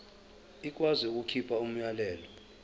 ikwazi ukukhipha umyalelo